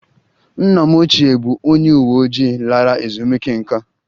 Nna m ochie bụ onye uwe ojii lara ezumike nká